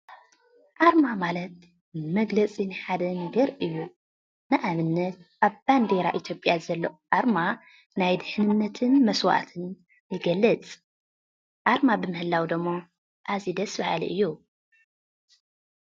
ኣርማ ማለት መግለፂ ናይ ሓደ ነገር እዩ፡፡ ንኣብነት ኣብ ባንዴራ ኢትዮጵያ ዘሎ ኣርማ ናይ ድሕንነትን መስዋእትን ይገልፅ፡፡ ኣርማ ብምህላው ደሞ ኣዝዩ ደስ በሃሊ እዩ፡፡